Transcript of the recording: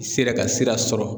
N sera ka sira sɔrɔ